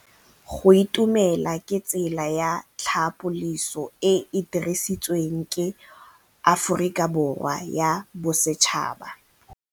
Go itumela ke tsela ya tlhapolisô e e dirisitsweng ke Aforika Borwa ya Bosetšhaba.